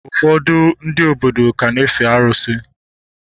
Ụfọdụ ndị obodo ka na-efe arụsị